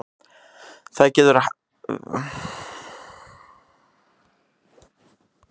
Það getur verið hættulegt fyrir mikilvæga menn að reyna um of á raddböndin.